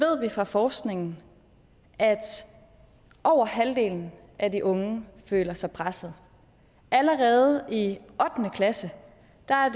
fra forskningen at over halvdelen af de unge føler sig presset allerede i ottende klasse